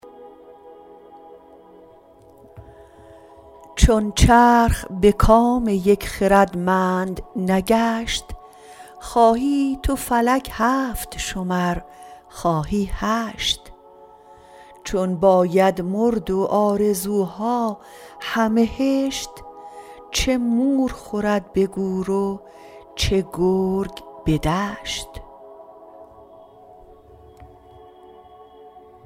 چون چرخ به کام یک خردمند نگشت خواهی تو فلک هفت شمر خواهی هشت چون باید مرد و آرزوها همه هشت چه مور خورد به گور و چه گرگ به دشت